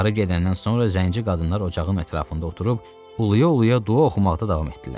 Qarı gedəndən sonra zənci qadınlar ocağın ətrafında oturub uluya-uluya dua oxumaqda davam etdilər.